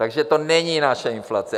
Takže to není naše inflace.